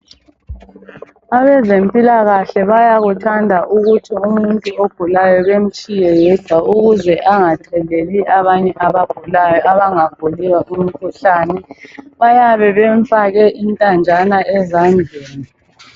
Abezempilakahle bayakuthanda ukuthi umuntu ogulayo bemtshiye yedwa ukuze angatheleli abanye abagulayo abangaguliyo umkhuhlane. Bayabe bemfake intanjana ezandleni.